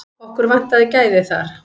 Okkur vantaði gæði þar.